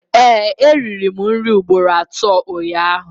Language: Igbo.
Ee, eriri m nri ugboro atọ ụnyaahụ